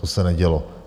To se nedělo.